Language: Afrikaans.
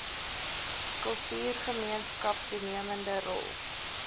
kultuurgemeenskap toenemende rol